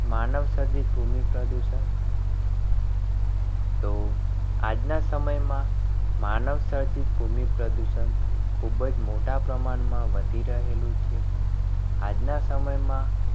માનવસર્જિત ભૂમિ પ્રદૂષણ તો આજના સમયમાં માનવસર્જિત ભૂમિ પ્રદૂષણ ખૂબ જ મોટા પ્રમાણમાં વધી રહેલું છે. આજના સમયમાં